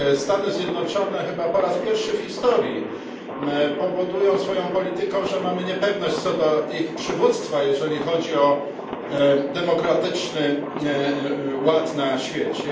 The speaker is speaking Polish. Stany Zjednoczone chyba po raz pierwszy w historii powodują swoją polityką, że odczuwamy niepewność, co do ich przywództwa, jeżeli chodzi o demokratyczny ład na świecie.